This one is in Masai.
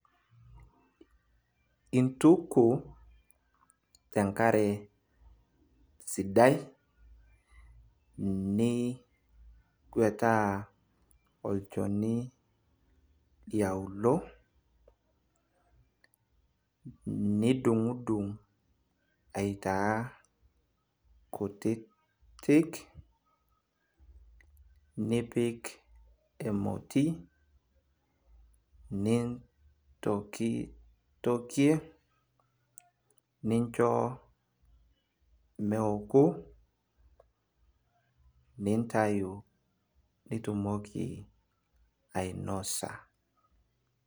intuku te nkare sidai, niguetaa olchoni liaulou, nidung'idung' aitaa kutitik, nipk emoti, nintokitokie, nincho meeku, nintayu nitumoki ainosa.